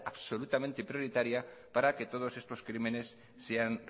absolutamente prioritaria para que todos estos crímenes sean